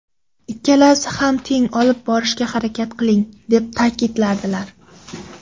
Ikkalasini ham teng olib borishga harakat qiling” deb ta’kidlardilar.